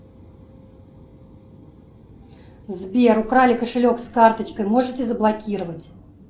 сбер украли кошелек с карточкой можете заблокировать